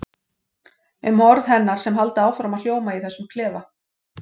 Um orð hennar sem halda áfram að hljóma í þessum klefa.